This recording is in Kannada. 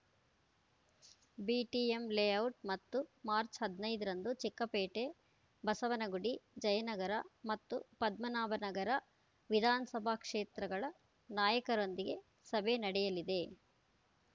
ಬಿಟಿಎಂ ಲೇಔಟ್‌ ಮತ್ತು ಮಾರ್ಚ್ ಹದಿನೈದರಂದು ಚಿಕ್ಕಪೇಟೆ ಬಸವನಗುಡಿ ಜಯನಗರ ಮತ್ತು ಪದ್ಮನಾಭನಗರ ವಿಧಾನಸಭಾ ಕ್ಷೇತ್ರಗಳ ನಾಯಕರೊಂದಿಗೆ ಸಭೆ ನಡೆಯಲಿದೆ